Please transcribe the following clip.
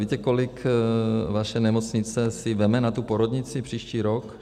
Víte, kolik vaše nemocnice si vezme na tu porodnici příští rok?